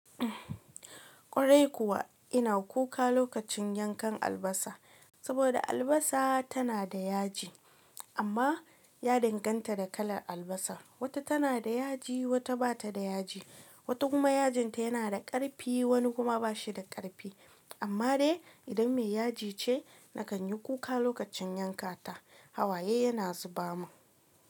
Ƙwarai kuwa ina kuka lokacin yankan albasa, saboda albasa tana da yaji amma ya danganta da kalar albasar. Wata tana da yaji, wata bata da yaji, wata kuma yajinta yana da ƙarfi, wani kuma bashi da ƙarfi. Amma dai idan mai yaji ce, na kan yi kuka lokacin yanka ta. Hawaye yana zuba mun.